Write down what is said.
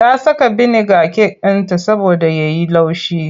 Ta saka biniga cake ɗinta saboda ya yi laushi.